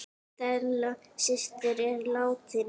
Stella systir er látin.